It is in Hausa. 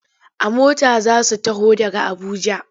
A mota za su taho daga Abuja.